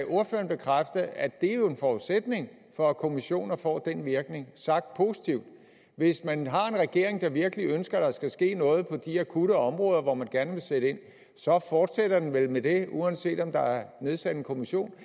ordføreren bekræfte at det jo er en forudsætning for at kommissioner får den virkning sagt positivt hvis man har en regering der virkelig ønsker at der skal ske noget på de akutte områder hvor man gerne vil sætte ind så fortsætter den vel med det uanset om der er nedsat en kommission